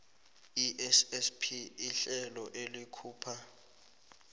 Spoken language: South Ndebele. issp lihlelo elikhupha